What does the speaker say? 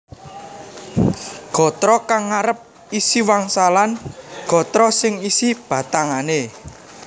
Gatra kang ngarep isi wangsalan gatra sing isi batangané